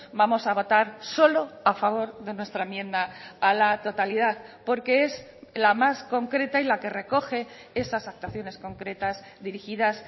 vamos a votar solo a favor de nuestra enmienda a la totalidad porque es la más concreta y la que recoge esas actuaciones concretas dirigidas